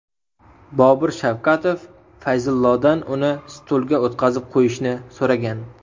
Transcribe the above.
Bobur Shavkatov Fayzullodan uni stulga o‘tqazib qo‘yishni so‘ragan.